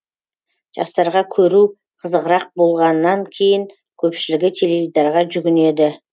жастарға көру қызығырақ болғанан кейін көпшілігі теледидарға жүгінеді